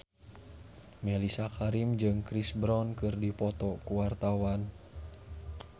Mellisa Karim jeung Chris Brown keur dipoto ku wartawan